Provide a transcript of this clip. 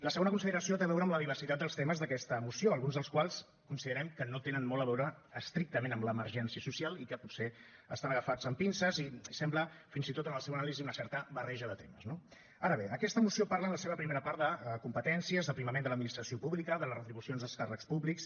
la segona consideració té a veure amb la diversitat dels temes d’aquesta moció alguns dels quals considerem que no tenen molt a veure estrictament amb l’emergència social i que potser estan agafats amb pinces i sembla fins i tot en la seva anàlisi una certa barreja de temes no ara bé aquesta moció parla en la seva primera part de competències d’aprimament de l’administració pública de les retribucions als càrrecs públics